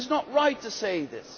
It is not right to say that.